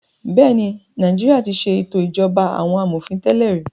Bẹ́ẹ̀ ni, Nàìjíríà ti ṣe ètò ìṣèjọba àwọn amòfin tẹ́lẹ̀ rí.